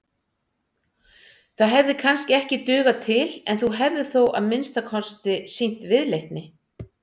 Það hefði kannski ekki dugað til en þú hefðir þó að minnsta kosti sýnt viðleitni.